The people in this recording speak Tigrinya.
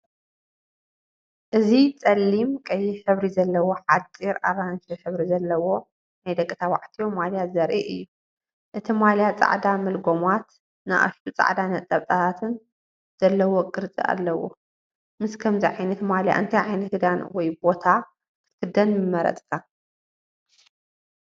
እዚ ጸሊም ቀይሕ ሕብሪ ዘለዎ ሓጺር ኣራንሺ ሕብሪ ዘለዎ ናይ ደቂ ተባዕትዮ ማልያ ዘርኢ እዩ። እቲ ማልያ ጻዕዳ መልጎማት ንኣሽቱ ጻዕዳ ነጥብታትን ዘለዎ ቅርጺ ኣለዎ። ምስ ከምዚ ዓይነት ማልያ እንታይ ዓይነት ክዳን ወይ ቦታ ክትክደን ምመርፅካ?